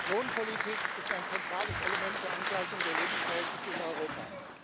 Lohnpolitik ist ein zentrales Element zur Angleichung der Lebensverhältnisse in Europa.